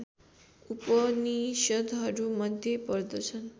उपनिषद्हरूमध्ये पर्दछन्